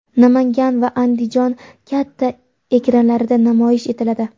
Namangan va Andijon katta ekranlarida namoyish etiladi.